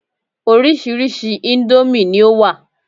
Orírìsíírìí íńdómì ni ó wà.